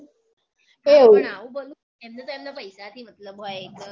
પણ આવું ભલું એમને તો એમનાં પૈસાથી મતલબ હોય એટલે